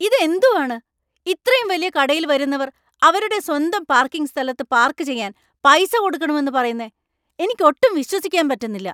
ഇത് എന്തുവാണ്, ഇത്രയും വലിയ കടയിൽ വരുന്നവർ അവരുടെ സ്വന്തം പാർക്കിംഗ് സ്ഥലത്ത് പാർക്ക് ചെയ്യാൻ പൈസ കൊടുക്കണമെന്ന് പറയുന്നെ എനിക്ക് ഒട്ടും വിശ്വസിക്കാൻ പറ്റുന്നില്ല.